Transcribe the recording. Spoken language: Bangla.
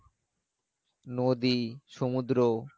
নদী, সমুদ্র